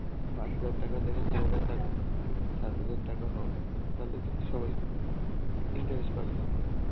পাঁচ হাজার টাকা দেবে সাত হাজার টা~ সাত হাজার টাকা হোক তাহলে কিন্তু সবাই interest পাবে না.